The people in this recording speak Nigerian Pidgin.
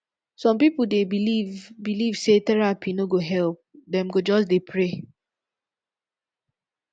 some pipo dey believe believe sey therapy no go help dem go just dey pray